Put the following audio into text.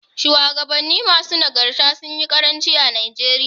Shuwagabannin masu nagarta sunyi ƙaranci a Najeriya.